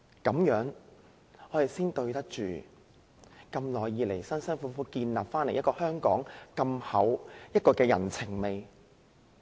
這樣才對得起香港長久以來辛苦建立如此濃厚的人情味。